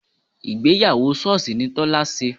Ìgbéyàwó sọ́ọ̀sì ni Tọ́lá ṣe